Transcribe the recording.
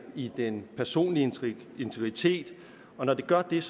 i den personlige integritet og når det gør det er